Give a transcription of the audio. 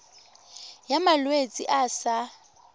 ya malwetse a a sa